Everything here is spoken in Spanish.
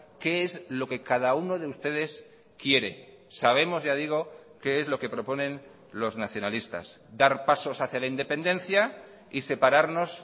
qué es lo que cada uno de ustedes quiere sabemos ya digo qué es lo que proponen los nacionalistas dar pasos hacia la independencia y separarnos